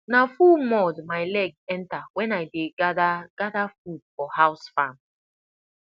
na full mud my leg enter when i dey gather gather food for house farm